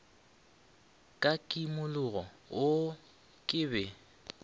ka kimologo oo ke be